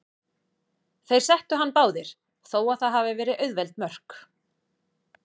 Þeir settu hann báðir, þó að það hafi verið auðveld mörk.